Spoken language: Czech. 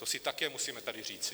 To si také musíme tady říci.